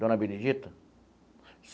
Dona Benedita.